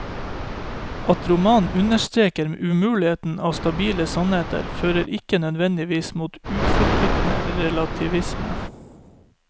At romanene understreker umuligheten av stabile sannheter, fører ikke nødvendigvis mot uforpliktende relativisme.